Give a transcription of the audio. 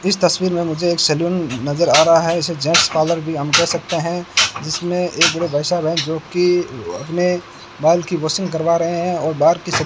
इस तस्वीर में मुझे एक सैलून नजर आ रहा है इसे जेंट्स पार्लर भी हम कह सकते हैं जिसमें एक बड़े भाई साहब हैं जोकि अपने बाल की वाशिंग करवा रहे हैं और बाल की --